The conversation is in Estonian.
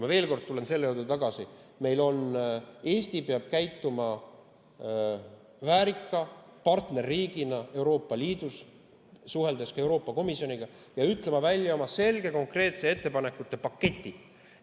Ma veel kord tulen tagasi selle juurde, et Eesti peab käituma väärika partnerriigina Euroopa Liidus, suheldes ka Euroopa Komisjoniga, ja ütlema välja oma selge konkreetse ettepanekute paketi.